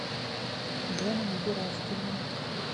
дэном гераськиным